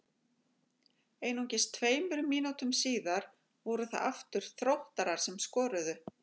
Einungis tveimur mínútum síðar voru það aftur Þróttarar sem skoruðu.